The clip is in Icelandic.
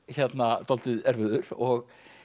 dálítið erfiður og